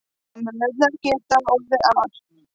Samræðurnar gerast nokkuð al